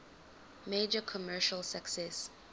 major commercial success